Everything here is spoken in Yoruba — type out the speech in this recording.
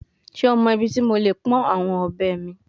Ṣe o mọ ibiti mo le pọn awọn ọbẹ mi?